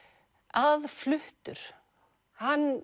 aðfluttur hann